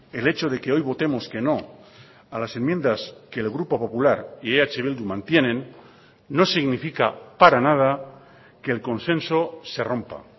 el hecho de que hoy votemos que no a las enmiendas que el grupo popular y eh bildu mantienen no significa para nada que el consenso se rompa